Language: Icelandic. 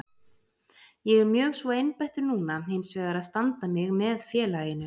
Ég er mjög svo einbeittur núna hinsvegar að standa mig með félaginu.